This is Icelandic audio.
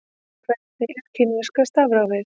Hvernig er kínverska stafrófið?